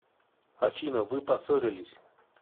афина вы поссорились